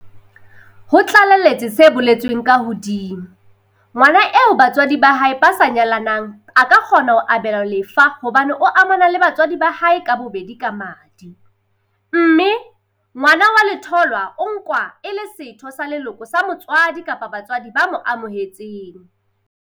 Ho tlaleletse se boletsweng ka hodima, ngwana eo ba tswadi ba hae ba sa nyalanang a ka kgona ho abelwa lefa hobane o amana le batswadi ba hae ka bobedi ka madi, mme ngwana wa letholwa o nkwa e le setho sa leloko sa motswadi kapa batswadi ba mo amohetseng.